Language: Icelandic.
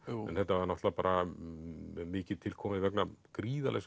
en þetta var náttúrulega bara mikið til komið vegna gríðarlegs